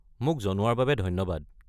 মোক জনোৱাৰ বাবে ধন্যবাদ।